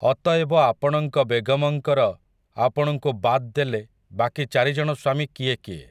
ଅତଏବ ଆପଣଙ୍କ ବେଗମଙ୍କର ଆପଣଙ୍କୁ ବାଦ୍ ଦେଲେ ବାକି ଚାରି ଜଣ ସ୍ୱାମୀ କିଏ କିଏ।